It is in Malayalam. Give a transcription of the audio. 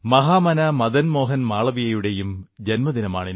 മഹാമനാ മദൻ മോഹൻ മാളവീയയുടെയും ജന്മദിനമാണ്